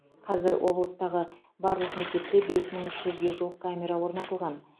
қазір облыстағы барлық мектепте бес мың үш жүзге жуық камера орнатылған